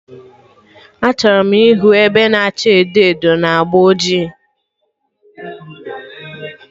Achọrọ m ịhụ ebe na acha edo edo na agba ọjị